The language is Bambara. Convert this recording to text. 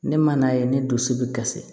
Ne man n'a ye ne dusu bɛ kasi